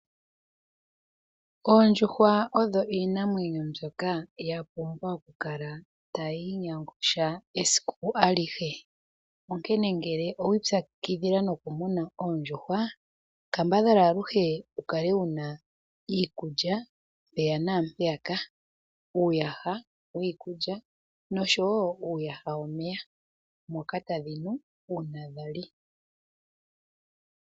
Oondjuhwa oyo iinamwenyo mbyoka ya pumbwa oku kala tayi inyangusha esiku alihe. N nkene ngele owa ipyakidhila noku muna Oondjuhwa kambadhala aluhe wu kale wuna iikulya mpeya naampeyaka. Uuyaha wiikulya nosho wo uuyaha womeya moka tadhi nu uuna dhali.